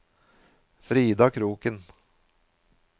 Frida Kroken